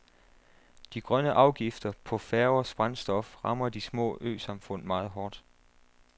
De grønne afgifter på færgers brændstof rammer de små øsamfund meget hårdt.